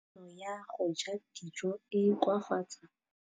Kganô ya go ja dijo e koafaditse mmele wa molwetse.